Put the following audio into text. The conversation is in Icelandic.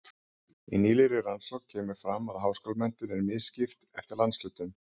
Í nýlegri rannsókn kemur fram að háskólamenntun er misskipt eftir landshlutum.